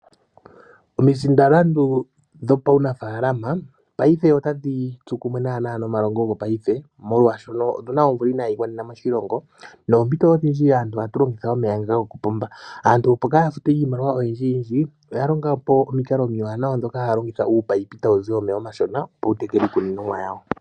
Omisindalandu dhuunafaalama otadhi tsu kumwe nomalongo gopaife molwaashoka otuna omvula inayi gwanena moshilongo noompito odhindji aantu ohatu longitha omeya gokopomba. Aantu mboka haya futu iimaliwa oyindji oya longapo uumunino mboka hawuzi omeya omashona okutekela iimeno.